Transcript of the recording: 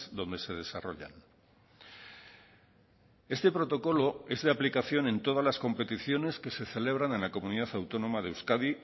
donde se desarrollan este protocolo es de aplicación en todas las competiciones que se celebran en la comunidad autónoma de euskadi